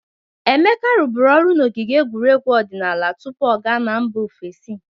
Emeka rụbụrụ ọrụ n'ogige egwuregwu odịnaala tupu ọ ga mba ofesi.